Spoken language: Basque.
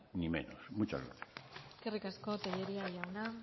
ni menos muchas gracias eskerrik asko tellería jauna